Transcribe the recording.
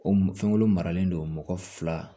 O fɛnkolon maralen don mɔgɔ fila